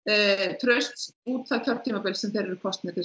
traust út þess kjörtímabils sem þeir eru kosnir til